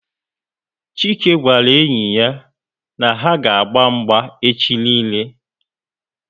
chike gwara enyi ya na ha aga agba mgba echi niile